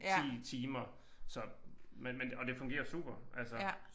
10 timer så men men og det fungerer super altså